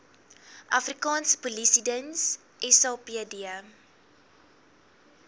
afrikaanse polisiediens sapd